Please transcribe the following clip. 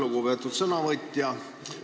Lugupeetud sõnavõtja!